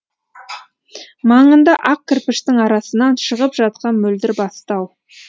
маңында ақ кірпіштің арасынан шығып жатқан мөлдір бастау